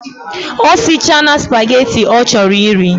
Osichana spaghetti ochoro iri